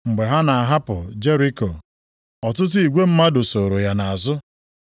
Mgbe ha na-ahapụ Jeriko, ọtụtụ igwe mmadụ sooro ya nʼazụ.